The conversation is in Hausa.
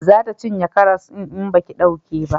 Za ta cinye karas din in baki dauke ba